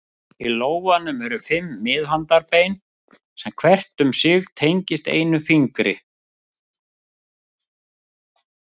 Í lófanum eru fimm miðhandarbein sem hvert um sig tengist einum fingri.